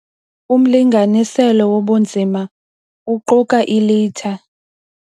Umlinganiselo wobunzima uquka ilitha.